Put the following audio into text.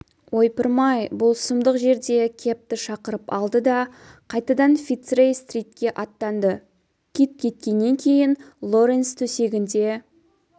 ойпырмай бұл сұмдық жерде кэбті шақырып алды да қайтадан фицрей-стритке аттанды кит кеткеннен кейін лоренс төсегінде